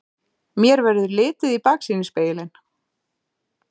Mér verður litið í baksýnisspegilinn.